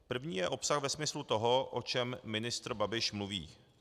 První je obsah ve smyslu toho, o čem ministr Babiš mluví.